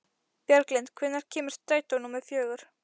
Bjarglind, hvenær kemur strætó númer fjögur?